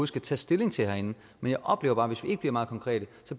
skal tage stilling til herinde men jeg oplever bare at hvis vi ikke bliver meget konkrete